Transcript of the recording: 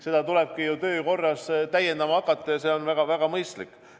Seda tulebki ju töö korras täiendama hakata ja see ongi väga mõistlik.